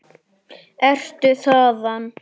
Ertu þaðan?